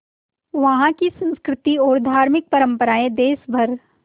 वहाँ की संस्कृति और धार्मिक परम्पराएं देश भर